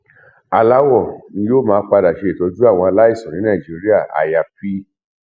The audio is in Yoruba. aláwọ ni yóò padà ṣe ìtọjú àwọn aláìsàn ní nàìjíríà àyàáfì